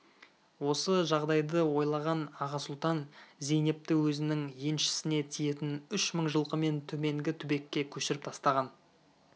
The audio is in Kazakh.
осы жағдайды ойлаған аға сұлтан зейнепті өзінің еншісіне тиетін үш мың жылқымен төменгі түбекке көшіріп тастаған